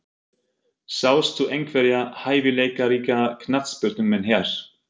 Sástu einhverja hæfileikaríka knattspyrnumenn hér?